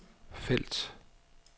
felt